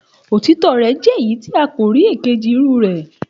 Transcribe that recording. Òtítọ rẹ jẹ èyí tí a kò rí èkejì irú rè